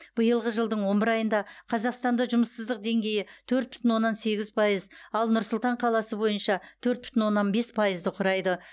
биылғы жылдың он бір айында қазақстанда жұмыссыздық деңгейі төрт бүтін оннан сегіз пайыз ал нұр сұлтан қаласы бойынша төрт бүтін оннан бес пайызды құрайды